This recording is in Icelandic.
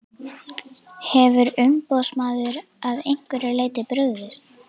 Hefur umboðsmaður að einhverju leyti brugðist?